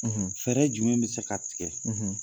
fɛɛrɛ jumɛn be se ka tigɛ ?